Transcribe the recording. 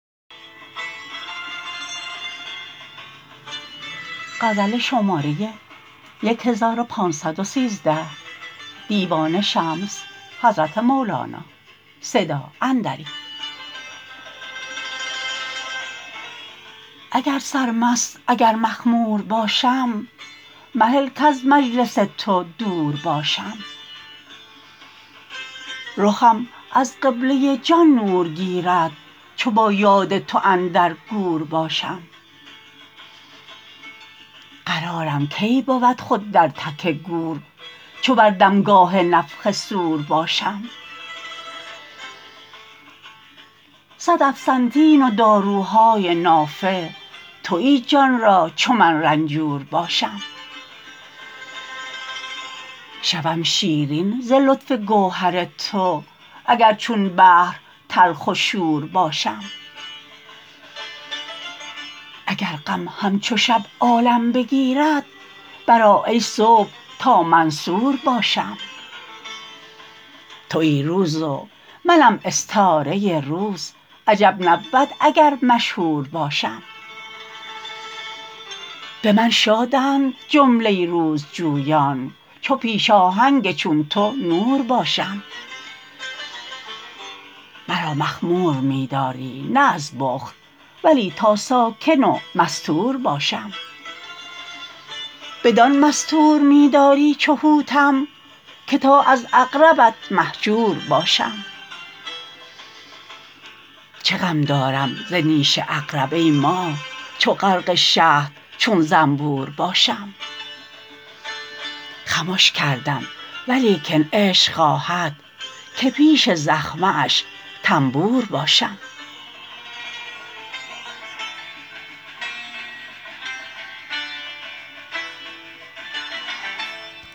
اگر سرمست اگر مخمور باشم مهل کز مجلس تو دور باشم رخم از قبله جان نور گیرد چو با یاد تو اندر گور باشم قرارم کی بود خود در تک گور چو بر دمگاه نفخ صور باشم صد افسنتین و دارو های نافع توی جان را چو من رنجور باشم شوم شیرین ز لطف گوهر تو اگر چون بحر تلخ و شور باشم اگر غم همچو شب عالم بگیرد برآ ای صبح تا منصور باشم توی روز و منم استاره روز عجب نبود اگر مشهور باشم به من شاد ند جمله روزجویان چو پیش آهنگ چون تو نور باشم مرا مخمور می داری نه از بخل ولی تا ساکن و مستور باشم بدان مستور می داری چو حوتم که تا از عقربت مهجور باشم چه غم دارم ز نیش عقرب ای ماه چو غرق شهد چون زنبور باشم خمش کردم ولیکن عشق خواهد که پیش زخمه اش تنبور باشم